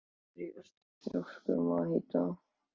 Af hverju ertu svona þrjóskur, Matthía?